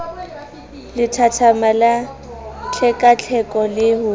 lethathama la tlhekatlheko le ho